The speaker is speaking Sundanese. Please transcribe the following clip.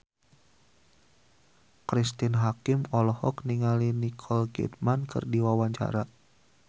Cristine Hakim olohok ningali Nicole Kidman keur diwawancara